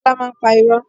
Kola máa ń pa irọ́